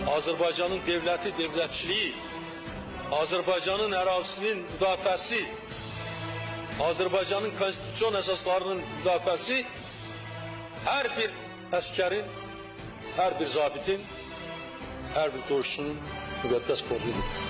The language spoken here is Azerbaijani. Azərbaycanın dövləti, dövlətçiliyi, Azərbaycanın ərazisinin müdafiəsi, Azərbaycanın konstitusion əsaslarının müdafiəsi hər bir əsgərin, hər bir zabitin, hər bir döyüşçünün müqəddəs borcudur.